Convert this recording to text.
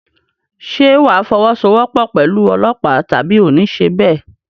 Ṣé wà á fọwọ́sowọ́pọ̀ pẹ̀lú ọlọ́pàá tàbí oò ní ṣe bẹ́ẹ̀?